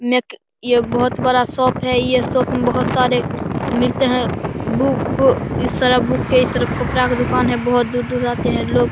नेक ये बहुत बड़ा शॉप है ये शॉप मे बहुत सारे मिलते हैं बुक इस तरफ बुक के इस तरफ कपड़ा का दुकान है बहुत दूर-दूर से आते हैं लोग।